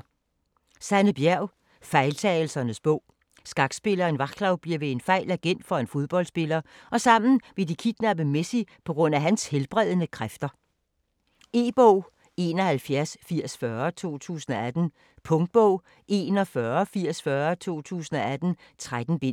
Bjerg, Sanne: Fejltagelsernes bog Skakspilleren Vaclav bliver ved en fejl agent for en fodboldspiller og sammen vil de kidnappe Messi pga. hans helbredende kræfter. E-bog 718040 2018. Punktbog 418040 2018. 13 bind.